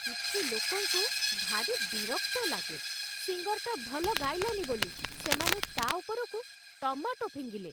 କିଛି ଲୋକଙ୍କୁ ଭାରି ବିରକ୍ତ ଲାଗେ । ସିଙ୍ଗର୍‌ଟା ଭଲ ଗାଇଲାନି ବୋଲି ସେମାନେ ତା' ଉପରକୁ ଟମାଟୋ ଫିଙ୍ଗିଲେ ।